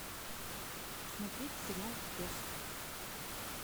смотреть сериал пес